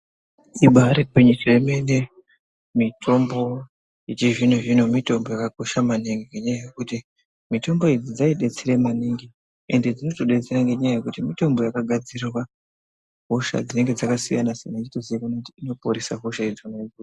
Ibari gwinyiso yemene mitombo yechizvino zvino mitombo yakakosha maningi ngenyaya yekuti mitombo idzi dzidetsera maningi ende dzinotodetsera ngenyaya yekuti mitombo yakagadzirirwa hosha dzinenge dzakasiyana siyana ichitozikanwa kuti inoporesa hosha idzona idzodzo.